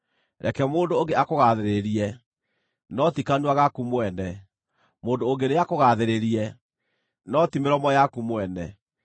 Reke mũndũ ũngĩ akũgaathĩrĩrie, no ti kanua gaku mwene; mũndũ ũngĩ nĩakũgaathĩrĩrie, no ti mĩromo yaku mwene.